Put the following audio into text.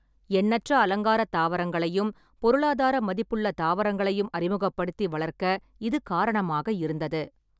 எண்ணற்ற அலங்கார தாவரங்களையும், பொருளாதார மதிப்புள்ள தாவரங்களையும் அறிமுகப்படுத்தி வளர்க்க இது காரணமாக இருந்தது.